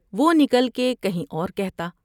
وہ نکل کے کہیں اور کہتا ۔